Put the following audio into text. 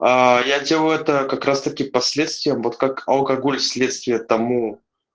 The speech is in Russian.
аа я делаю это как раз таки последствием вот как алкоголь следствие тому